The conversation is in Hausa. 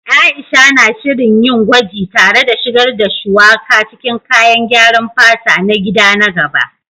Aisha na shirin yin gwaji tare da shigar da Shuwaka cikin kayan gyaran fata na gida na gaba